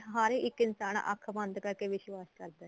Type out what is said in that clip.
ਹਰ ਇੱਕ ਇਨਸਾਨ ਅੱਖ ਬੰਦ ਕਰਕੇ ਵਿਸ਼ਵਾਸ਼ ਕਰਦਾ